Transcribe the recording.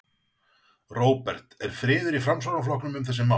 Róbert: Er friður í Framsóknarflokknum um þessi mál?